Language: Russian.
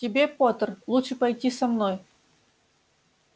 тебе поттер лучше пойти со мной